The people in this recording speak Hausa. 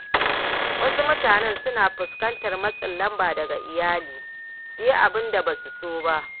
Wasu mutane suna fuskantar matsin lamba daga iyali su yi abin da ba su so.